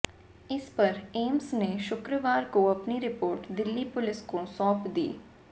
इस पर एम्स ने शुक्रवार को अपनी रिपोर्ट दिल्ली पुलिस को सौंप दी